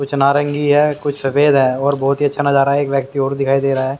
कुछ नारंगी है कुछ सफेद है और बहोत ही अच्छा नजारा है एक व्यक्ति और दिखाई।